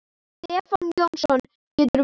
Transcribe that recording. Stefán Jónsson getur verið